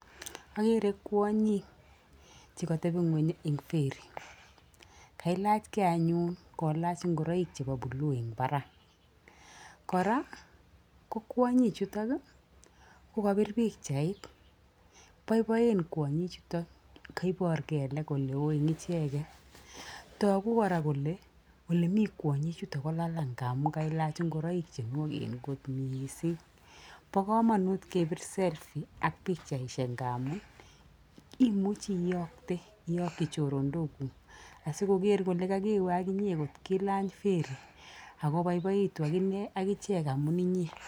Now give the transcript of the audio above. Akere kwonyik che kotebi ng'uny eng ferry. Kelachgei anyun kolach ngoroik chebo blue eng barak. Kora ko kwonyi chutok ko kobir pikchait. Boiboen kwonyi chutok, kaibor kelek oleo eng icheket. Togu kora kole ole mi kwonyi chutok ko lalang' amu kailaach ngoroik che nwoken kot mising. Bo komonut kebir selfie ak pikchaisiek nga amu imuchi iyookte iyokyi choronokuk asikoker kole kakewe ak inye ngot ilany ferry ak ko boiboitu ak ichek amu inye.